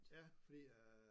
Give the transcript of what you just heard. Ja fordi øh